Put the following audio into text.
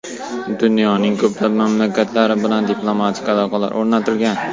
Dunyoning ko‘plab mamlakatlari bilan diplomatik aloqalar o‘rnatilgan.